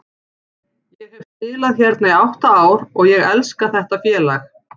Ég hef spilað hérna í átta ár og ég elska þetta félag.